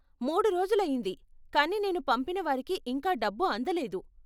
మూడు రోజులైయ్యింది, కానీ నేను పంపినవారికి ఇంకా డబ్బు అందలేదు.